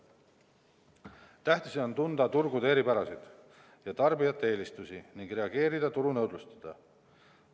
Tähtis on tunda turgude eripärasid ja tarbijate eelistusi ning reageerida turunõudlusele.